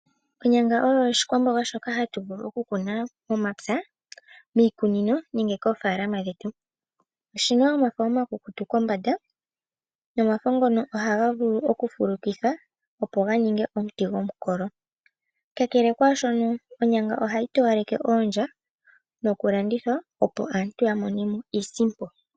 Onyanga oyo oshikwamboga shoka hatu vulu okukuna momapya, miikunino nenge koofaalama dhetu. Oshina omafo omakukutu kombanda nomafo ngono ohaga vulu okufulukithwa opo ga ninge omuti gomukolo. Kakele kwaashona, onyanga ohayi towaleke oondya nokulandithwa opo aantu ya mone iisimpo.